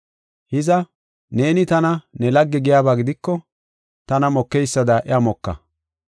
Hiza, neeni tana ne lagge giyaba gidiko tana mokeysada iya moka.